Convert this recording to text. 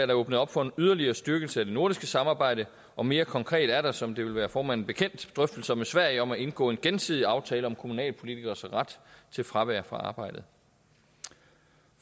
der åbnet op for en yderligere styrkelse af det nordiske samarbejde og mere konkret er der som det vil være formanden bekendt drøftelser med sverige om at indgå en gensidig aftale om kommunalpolitikeres ret til fravær fra arbejdet